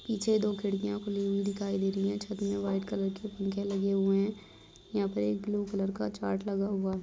पीछे दो खिड़कियाँ खुली हुई दिखाई दे रही है छत मे व्हाइट कलर के पंखे लगे हुये हैं यहाँ पे एक ब्लू कलर का चार्ट लगा हुआ है।